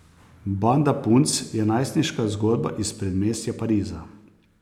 Banda punc je najstniška zgodba iz predmestja Pariza.